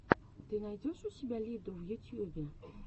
ты найдешь у себя лиду в ютьюбе